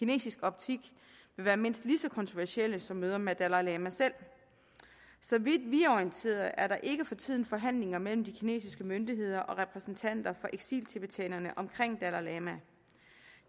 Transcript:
i kinesisk optik vil være mindst lige så kontroversielle som møder med dalai lama selv så vidt vi er orienteret er der ikke for tiden forhandlinger mellem de kinesiske myndigheder og repræsentanter for eksiltibetanerne omkring dalai lama